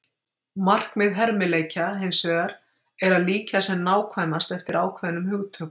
markmið hermileikja hins vegar er að líkja sem nákvæmast eftir ákveðnum hugtökum